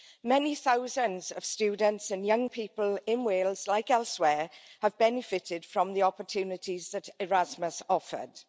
Many thousands of students and young people in Wales, like elsewhere, have benefited from the opportunities that Erasmus offered.